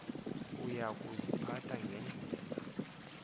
uya kuziphatha ngendlela